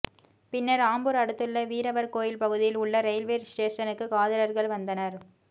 பின்னர் ஆம்பூர் அடுத்துள்ள வீரவர் கோயில் பகுதியில் உள்ள ரெயில்வே ஸ்டேஷனுக்கு காதலர்கள் வந்தனர்